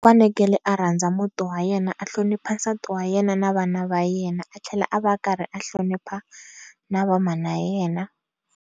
Fanekele a rhandza muti wa yena a hlonipha nsati wa yena na vana va yena a tlhela a va karhi a hlonipha na va mhana yena.